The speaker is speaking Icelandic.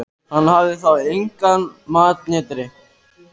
Hann hafði þá og engan mat né drykk.